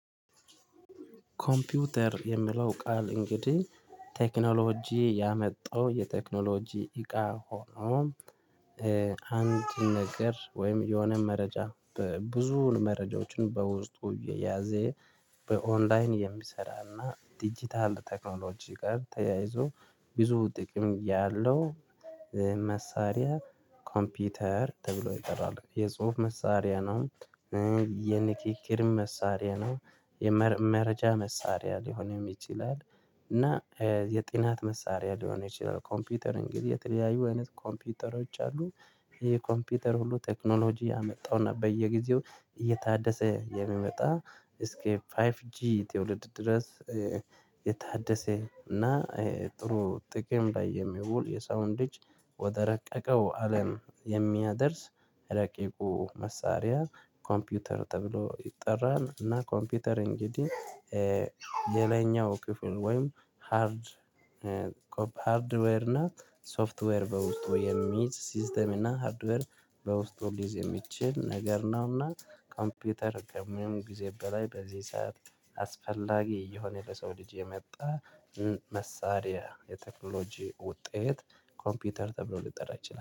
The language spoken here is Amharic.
ኮምፒውተር የሚለው ቃል እንግዲህ ቴክኖሎጂ ያመጣው የቴክኖሎጂ እቃ ሆኖ አንድ ነገር ወይም የሆነ መረጃ ብዙ መረጃዎችን በውስጡ የያዘ በኦንላይን የሚሰራና ዲጂታል ቴክኖሎጂ ጋር ተያይዞ ብዙ ጥቅም ያለው መሳሪያ ኮምፒውተር ተብሎ ይጠራል። የጽሁፍ መሳሪያ ነው። የንግግር መሳሪያ ነው የመረጃ መሳሪያ ሊሆን ይችላል። እና የጥናት መሳሪያ ሊሆን ይችላል። ኮምፒውተር እንግዲህ የተለያዩ ኮምፒውተሮች አሉ። ይሄ ኮምፒውተር ሁሉ ቴክኖሎጂ ያመጣውና በየጊዜው እየታደሰ የመጣ እስኪ ፋይቭ ጂ ትውልድ ድረስ። የታደሰ እና ጥሩ ጥቅም ላይ የሚውል የሰዉን እዠልጅ ወደ ረቀቀው አለም የሚያደርስ ረቂቁ መሳሪያ ኮምፒውተር ተብሎ ይጠራን። እና ኮምፒውተር እንግዲህ ሌላኛው ክፍሉ ወይም ሃርድ ሃርድዌር ናት። ሶፍትዌር በውስጡ የሚይዝ ሲስተም እና ሃርድዌር በውስጡ ሊዝ የሚችል ነገር ነው። እና ኮምፒውተር ከምን ጊዜ በላይ በዚህ ሰዓት አስፈላጊ እየሆነ የሰው ልጅ የመጣ መሳሪያ የቴክኖሎጂ ውጤት ኮምፒውተር ተብሎ ልጠራ ይችላል